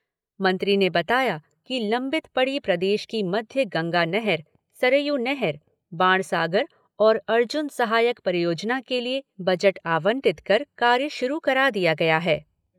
मंत्री ने बताया कि लम्बित पड़ी प्रदेश की मध्य गंगा नहर, सरयू नहर, बाणसागर और अर्जुन सहायक परियोजना के लिए बजट आवंटित कर कार्य शुरू करा दिया गया है।